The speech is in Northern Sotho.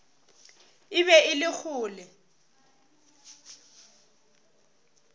e be e le kgole